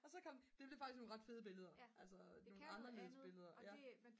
og så kom det blev faktisk nogle ret fede billeder altså nogle anderledes billeder ja